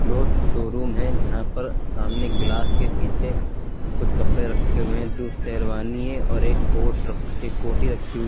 Cloth showroom है जहां पर सामने गिलास के पीछे कुछ कपड़े रखे हुए दो शेरवानी है और एक कोर्ट एक कोट कोटी रखी हुई।